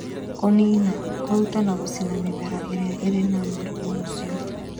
Kũniina: kũruta na kũcina mĩmera ĩrĩa ĩrĩ na mũrimũ ũcio